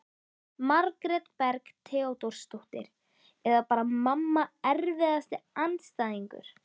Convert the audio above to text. Margrét Berg Theodórsdóttir eða bara mamma Erfiðasti andstæðingur?